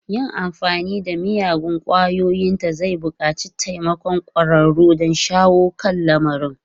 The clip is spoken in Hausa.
Yin amfani da miyagun ƙwayoyinta zai buƙaci taimakon ƙwararru don shawo kan lamarin.